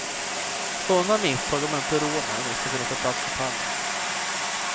Sådana misstag har man inte råd med, om det skall bli en plats på pallen.